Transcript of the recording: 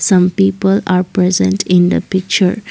some people are present in the picture.